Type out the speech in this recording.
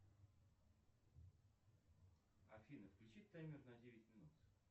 афина включи таймер на девять минут